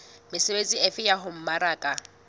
mesebetsi efe ya ho mmaraka